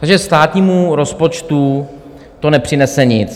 Takže státnímu rozpočtu to nepřinese nic.